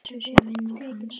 Blessuð sé minning hans!